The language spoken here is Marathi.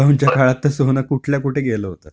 लॉकडाऊन च्या काळात तर सोनं कुठल्या कुठे गेलं होतं.